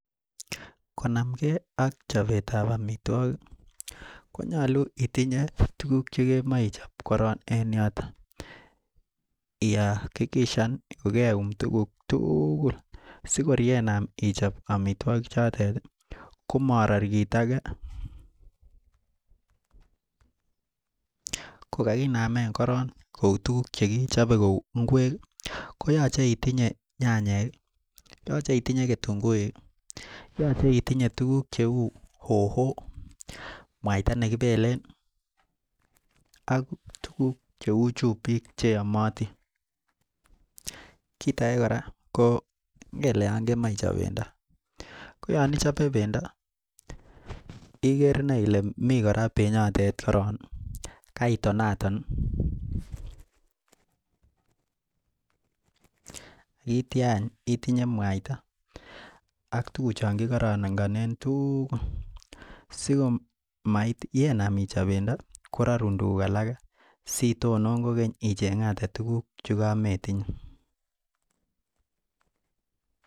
Konam gei ak chapet ab amitwagik konyalu itinye tuguk cheyache ichop en yoton akiyakikishan kokeyum tuguk tugul sikor kenam ichop amitwagik choten komarar kit age kokakinam koron Kou tuguk chekichooe Kou ngwek koyache itinye nyanyek akitunguik yache itinye tuguk cheu hoho mwaita ,nekibelen akntuguk cheu chumbik cheyamatin kit age koraa ko ngele kemache ichop bendo koyanichope bendo Iger inei Kole miten koraa benyiton koron akoyache itonaton akoyache ak tuguk tugul chekikaranganen ak simeinam ichop kora tuguk alak sitonon kogeny ichengate tuguk chekametinye